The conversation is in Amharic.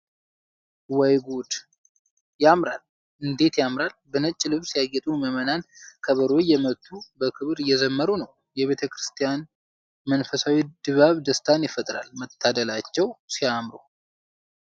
ወይ ጉድ! እንዴት ያምራል! በነጭ ልብስ ያጌጡ ምዕመናን ከበሮ እየመቱ፣ በክብር እየዘመሩ ነው! የቤተ ክርስቲያኑ መንፈሳዊ ድባብ ደስታን ይፈጥራል! መታደላቸው